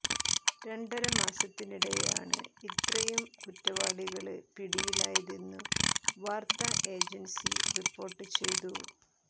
രണ്ടര മാസത്തിനിടെയാണ് ഇത്രയും കുറ്റവാളികള് പിടിയിലാതെന്നു വാര്ത്താ ഏജന്സി റിപ്പോര്ട്ട് ചെയ്തു